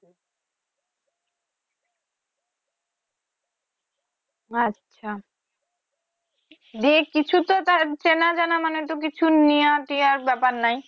আচ্ছা দিয়ে কিছু তো তার চেনাজানা কিছু মানে তো কিছু নেয়ার দেয়ার ব্যাপার নাই